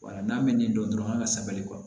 Wala n'a bɛ min dɔn dɔrɔn an ka sabali